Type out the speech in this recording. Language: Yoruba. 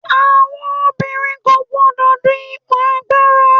àwọn obìnrin kò gbodò dun ipo agbara